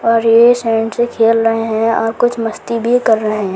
और ये सेंड से खेल रहे हैं और कुछ मस्ती भी कर रहे हैं।